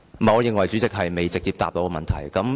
我認為局長未有直接回答我的問題。